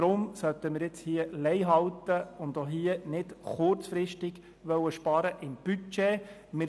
Deshalb sollten wir in dieser Sache Leih halten und nicht kurzfristig im Budget sparen.